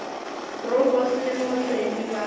bro boss le mootledi ba